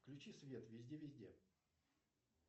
включи свет везде везде